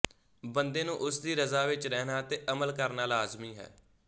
ਬੰਦੇ ਨੂੰ ਉਸਦੀ ਰਜ਼ਾ ਵਿੱਚ ਰਹਿਣਾ ਤੇ ਅਮਲ ਕਰਨਾ ਲਾਜ਼ਮੀ ਹੈ